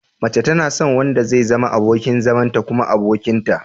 Mace tana son wanda zai zama abokin zamanta kuma abokinta.